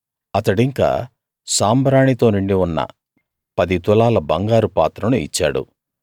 అతడింకా సాంబ్రాణి తో నిండి ఉన్న పది తులాల బంగారు పాత్రను ఇచ్చాడు